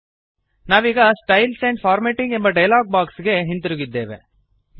ನಾವೀಗ styles and formatting ಎಂಬ dialog box ಗೆ ಹಿಂತಿರುಗಿದ್ದೇವೆ